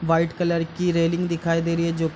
white colour की railing दिखाई दे रही है जो --